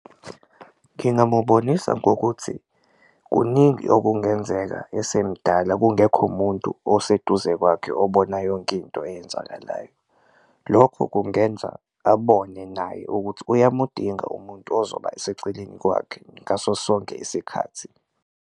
Ngingamubonisa ngokuthi kuningi okungenzeka esemdala kungekho umuntu oseduze kwakhe obona yonke into eyenzakalayo, lokho kungenza abone naye ukuthi uyamudinga umuntu ozoba seceleni kwakhe ngaso sonke isikhathi.